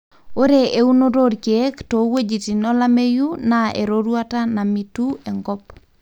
ore eunoto olkeek toweujitin olameyu na eroruata namitu enkop.